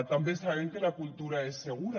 també sabem que la cultura és segura